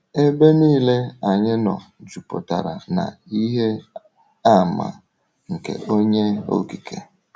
Ebe niile anyị nọ jupụtara na ihe àmà nke Onye Okike.